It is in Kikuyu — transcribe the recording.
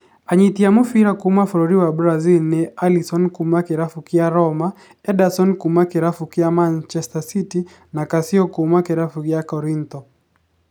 Anyiti a mũbira kuuma bũrũri wa Brazil nĩ Alisson kuuma kĩrabu kĩa Roma, Ederson kuuma kĩrabu kĩa Manchester City na Cassio kuuma kĩrabu kĩa Korintho.